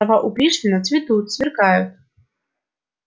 слова у пришвина цветут сверкают